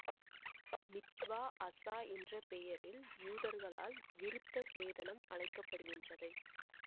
மித்வா அசா என்ற பெயரில் யூதர்களால் விருத்த சேதனம் அழைக்க படுகின்றது